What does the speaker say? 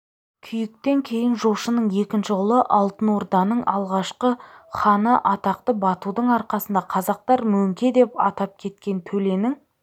күйіктен кейін жошының екінші ұлы алтын орданың алғашқы ханы атақты батудың арқасында қазақтар мөңке деп атап кеткен төленің